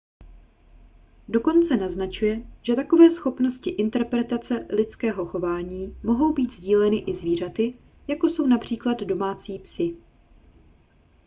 dokonce naznačuje že takové schopnosti interpretace lidského chování mohou být sdíleny i zvířaty jako jsou např domácí psi